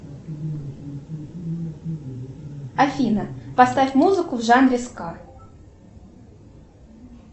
афина поставь музыку в жанре ска